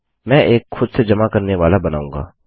मैं एक खुद से जमा करने वाला बनाऊँगा